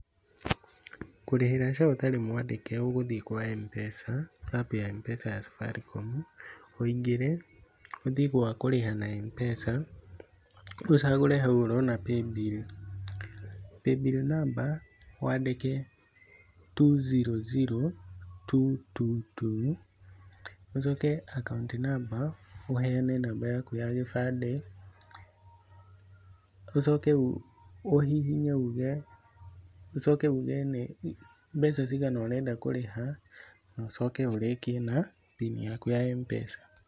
Kũrĩhĩra SHA ũtarĩ mwandĩke ũgũthiĩ kwa M-Pesa, APP ya M-PESA ya Safaricom, ũingĩre ũthie gwakurĩha na M-PESA, ũcagũre hau ũrona Paybill. Paybill namba wandĩke two zero zero two two two, ũcoke akaũnti namba ũheane namba yaku ya gĩbandĩ. Ũcoke ũhihinye uge, ũcoke uge nĩ mbeca cigana ũrenda kũrĩha, na ũcoke ũrĩkie na mbini yaku ya M-Pesa.